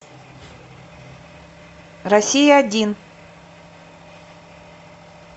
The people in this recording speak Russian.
россия один